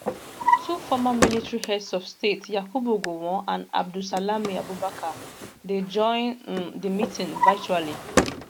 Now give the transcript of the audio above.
two former military heads of state yakubu gowon and abdusalami abubakar dey join um di meeting virtually